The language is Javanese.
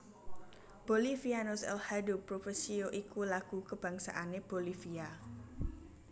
Bolivianos el hado propicio iku lagu kabangsané Bolivia